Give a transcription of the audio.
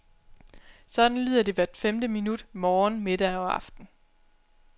Sådan lyder det hvert femte minut morgen, middag og aften.